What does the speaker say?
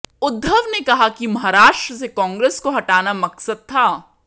उद्धव ने कहा है कि महाराष्ट्र से कांग्रेस को हटाना मकसद था